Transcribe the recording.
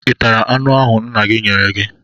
Ị tara anụ ahụ nna m nyere gị?